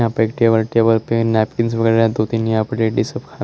यहां पे एक टेबल टेबल पे नैपकिंस वगैरह दो तीन यहां पे